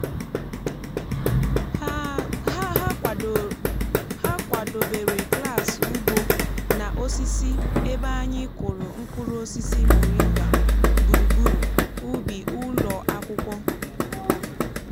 ha ha kwàdobèrè klas ugbo na osisi ebe anyị kụrụ mkpụrụ osisi moringa gburugburu ubi ụlọ akwụkwọ